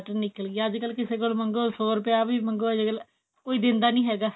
lottery ਨਿਕਲ ਗਈ ਅੱਜਕਲ ਕਿਸੇ ਕੋਲ ਮੰਗੋ ਸੋ ਰੁਪਿਆ ਵੀ ਮੰਗੋ ਅੱਜਕਲ ਕੋਈ ਦਿੰਦਾ ਨਹੀਂ ਹੈਗਾ